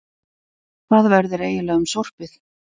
Hvað verður eiginlega um sorpið?